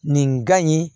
Nin gan in